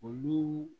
Olu